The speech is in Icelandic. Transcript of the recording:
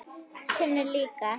Tinnu líka.